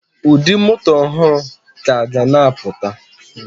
Ụdị moto ọhụrụ ka ga na apụta